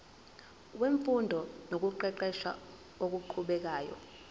wemfundo nokuqeqesha okuqhubekayo